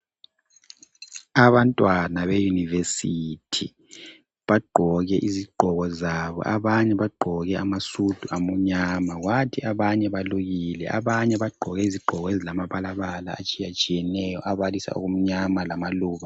Abantwana beyunivesithi bagqoke izigqoko zabo abanye bagqoke amasudu amnyama. Ngathi abanye balukile abanye bagqoke izigqoko ezilamabala atshiyatshiyeneyo abalisa okumnyama lamaluba.